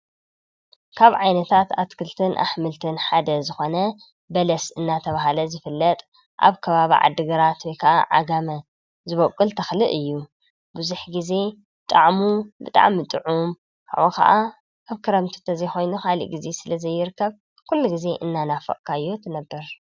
ካብ ዓይነታት ኣትክልትን አሕምልትን ሓደ ዝኮነ በለስ እናተብሃለ ዝፍለጥ ኣብ ከባቢ ዓዲ ግራት ወይ ከዓ ዓጋመ ዝበቁል ተክሊ እዩ። ብዙሕ ግዜ ጣዕሙ ብጣዕሚ ጥዑም ካብኡ ከዓ ኣብ ክረምቲ ግዜ እንተዘይኮይኑ ስለ ዘይርከብ ኩሉ ግዜ እናነፈቅካዮ ትነብር።